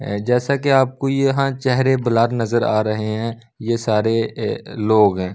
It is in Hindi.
जैसा कि आपको यहां चेहरे बलार नजर आ रहे हैं ये सारे लोग हैं।